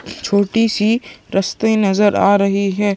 छोटी-सी रस्ते नज़र आ रही है।